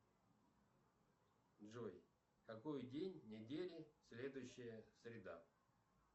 джой какой день недели следующая среда